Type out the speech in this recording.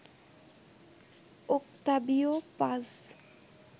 Octavio Paz